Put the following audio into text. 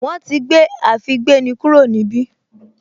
Wọ́n ti gbé àfígbéni kúrò níbí